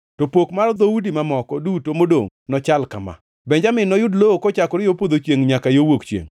“To pok mar dhoudi mamoko duto modongʼ nochal kama: “Benjamin noyud lowo kochakore yo podho chiengʼ nyaka yo wuok chiengʼ.